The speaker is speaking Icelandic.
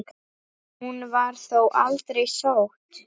Hún var þó aldrei sótt.